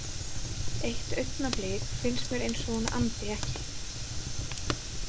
Eitt augnablik finnst mér eins og hún andi ekki.